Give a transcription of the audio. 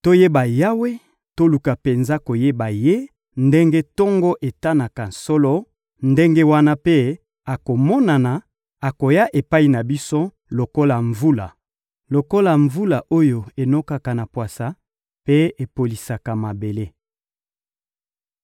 Toyeba Yawe, toluka penza koyeba Ye; ndenge tongo etanaka solo, ndenge wana mpe akomonana: akoya epai na biso lokola mvula, lokola mvula oyo enokaka na pwasa mpe epolisaka mabele.